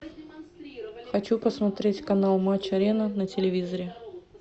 хочу посмотреть канал матч арена на телевизоре